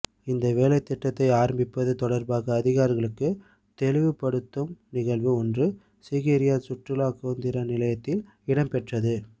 இந்த வேலைத்திட்டத்தை ஆரம்பிப்பது தொடர்பாக அதிகாரிகளுக்கு தெளிவுப்படுத்தும் நிகழ்வு ஒன்று சீகிரிய சுற்றுலா கேந்திர நிலையத்தில் இடம்பெற்றது